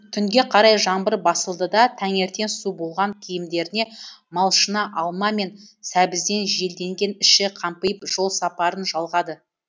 түнге қарай жаңбыр басылды да таңертең су болған киімдеріне малшына алма мен сәбізден желденген іші қампиып жол сапарын жалғады